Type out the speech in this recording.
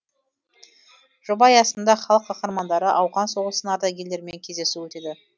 жоба аясында халық қаһармандары ауған соғысының ардагерлерімен кездесу өтеді